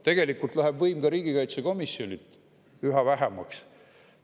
Tegelikult jääb ka riigikaitsekomisjonil võimu üha vähemaks.